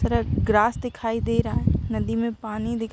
थोड़ा ग्रास दिखाई दे रहा नदी मे पानी दिख --